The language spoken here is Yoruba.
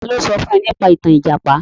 Ta ló sọ fún ẹ nípa ìtàn Ìjàpá?